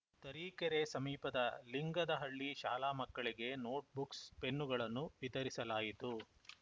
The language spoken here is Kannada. ತರೀಕೆರೆ ಸಮೀಪದ ಲಿಂಗದಹಳ್ಳಿ ಶಾಲಾ ಮಕ್ಕಳಿಗೆ ನೋಟ್‌ ಬುಕ್ಸ್‌ ಪೆನ್ನುಗಳನ್ನು ವಿತರಿಸಲಾಯಿತು